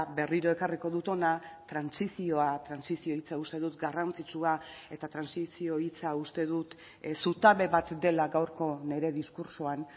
berriro ekarriko dut hona trantsizioa trantsizio hitza uste dut garrantzitsua eta trantsizio hitza uste dut zutabe bat dela gaurko nire diskurtsoan